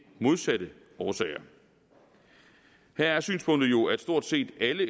modsatte årsager her er synspunktet jo at stort set alle